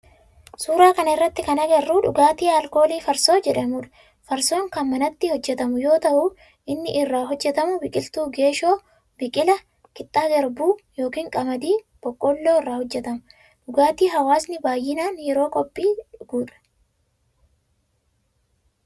Suuraa kana irratti kan agarru dhugaatii alkoolii farsoo jedhamudha. Farsoon kan manatti hojjetamu yoo ta'u kan inni irraa hojjetamu biqiltuu geeshoo, biqila, qixxaa garbuu yookin qamadii, boqqoolloo irraa hojjetama. Dhugaatii hawwaasni baayyinaan yeroo qophii dhugudha.